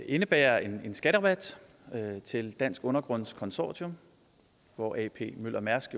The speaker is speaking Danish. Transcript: indebære en skatterabat til dansk undergrunds consortium hvor ap møller mærsk